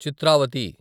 Chitravati